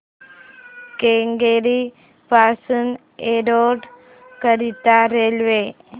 केंगेरी पासून एरोड करीता रेल्वे